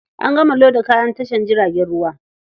An gama loda kayan a tashar jiragen ruwa.